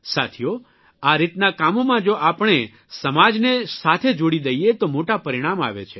સાથીઓ આ રીતના કામોમાં જો આપણે સમાજને સાથે જોડી દઇએ તો મોટા પરિણામ આવે છે